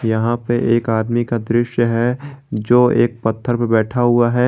यहां पे एक आदमी का दृश्य है जो एक पत्थर पर बैठा हुआ है।